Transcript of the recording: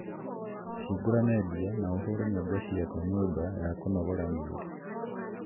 higura media na uhũre nyimbo cia nyumba ya kunongora miiri